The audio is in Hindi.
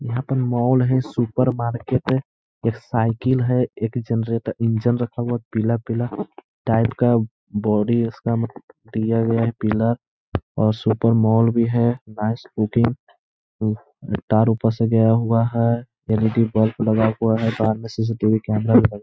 यहाँ पर मॉल है। सुपर मार्किट है। एक साइकिल है। एक जरनेटर इंजन रखा हुआ है। पीला-पीला टाइप का बॉडी उसका किया गया है। पिला और सुपर मॉल भी है। वहां स्कूटी अम तार ऊपर से गया हुआ है एल.ई.डी. बल्ब लगा हुआ है साथ में सी.सी.टी.वी. कैमरा भी लगा हुआ है।